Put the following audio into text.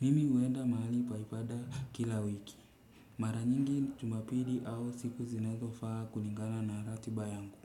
Mimi huenda mahali pa ibada kila wiki. Mara nyingi jumapili au siku zinazofaa kulingana na ratiba yangu.